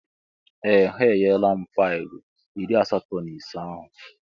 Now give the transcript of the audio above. Ee! Ha enyela m faịlụ iri asatọ na ise ahụ.